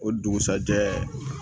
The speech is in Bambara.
O dugusajɛ